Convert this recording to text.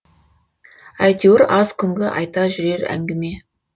әйтеуір аз күнгі айта жүрер әңгіме